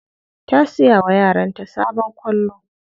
Ta siya wa yaranta sabon kwallo.